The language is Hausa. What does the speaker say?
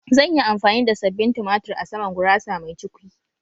Zan yi amfani da sabbin tumatur a saman gurasa mai cukwi